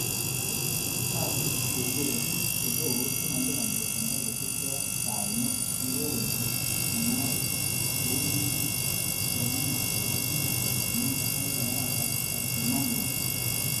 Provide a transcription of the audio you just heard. Tatu kegere bik eleo chemoliponi besendo kosiibge ak kaimet nekokonyor mungarok, kou nekikonech kele imuch kobit miondo age en arawetab Tisap,"kimwa muren